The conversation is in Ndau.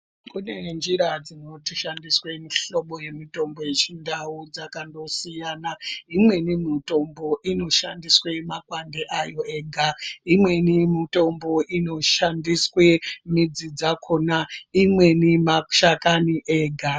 Kune njira dzinoshandisa mihlobo yemutombo dzechindau dzakasiyana. Imweni mitombo inoshandiswa makwande ayo ega. Imwni mitombo inoshandiswe midzi dzakona, imweni mashakani ega.